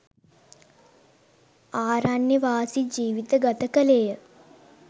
ආරණ්‍යවාසී ජීවිත ගත කළේ ය